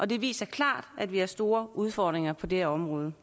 det viser klart at vi har store udfordringer på det her område